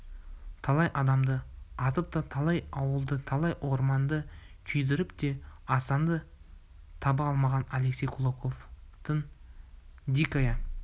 талай адамды атып та талай ауылды талай орманды күйдіріп те асанды таба алмаған алексей кулаковтың дикая